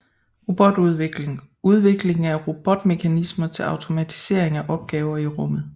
Robotudvikling Udvikling af robotmekanismer til automatisering af opgaver i rummet